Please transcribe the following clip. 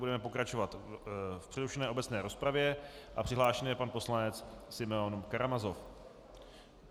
Budeme pokračovat v přerušené obecné rozpravě a přihlášen je pan poslanec Simeon Karamazov.